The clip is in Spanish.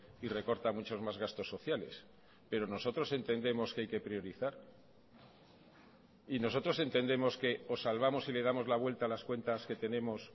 y recorta muchos más gastos sociales pero nosotros entendemos que hay que priorizar y nosotros entendemos que o salvamos y le damos la vuelta a las cuentas que tenemos